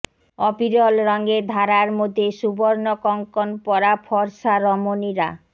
অবিরল রঙের ধারার মধ্যে সুবর্ণ কঙ্কণ পরা ফর্সা রমণীরা